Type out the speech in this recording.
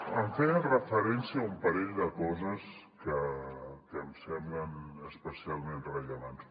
em feia referència a un parell de coses que em semblen especialment rellevants